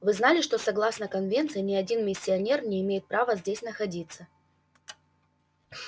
вы знали что согласно конвенции ни один миссионер не имеет права здесь находиться